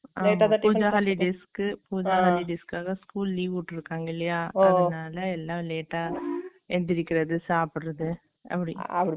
pooja holidays pooja holidays காக school leave விட்ருக்காங்க இல்லையா அதுனால எல்லா late ஆ எந்திரிக்கறது சாப்பட்றது அப்டி